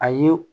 A ye